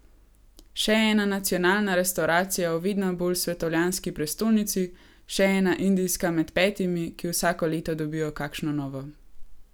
Še ena nacionalna restavracija v vedno bolj svetovljanski prestolnici, še ena indijska med petimi, ki vsako leto dobijo kakšno novo.